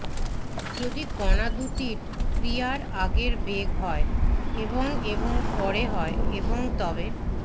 যদি কণা দুটির ক্রিয়ার আগের বেগ হয় এবং এবং পরে হয় এবং তবে